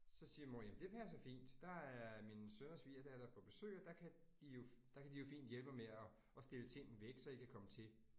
Så siger mor jamen det passer fint. Der er min søn og svigerdatter på besøg, og der kan de jo, der kan de jo fint hjælpe mig med at med at stille ting væk, så I kan komme til